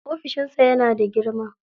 Ofishin sa yana da girma.